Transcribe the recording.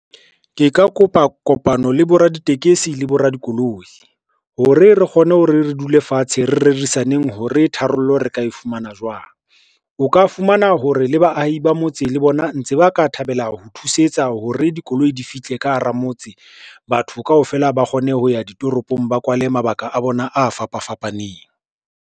Ke ka kopa kopano le boraditekesi le boradikoloi, hore re kgone hore re dule fatshe, re rerisaneng hore tharollo re ka e fumana jwang. O ka fumana hore le baahi ba motse le bona ntse ba ka thabela ho thusetsa hore dikoloi di fihle ka hara motse. Batho kaofela ba kgone ho ya ditoropong, ba kwale mabaka a bona a fapa fapaneng.